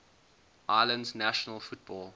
islands national football